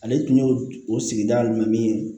Ale tun y'o o sigida jumɛn ye